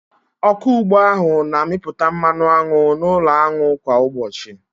Ọkụ ugbo ahụ na-amịpụta mmanụ aṅụ n'ụlọ aṅụ kwa ụbọchị.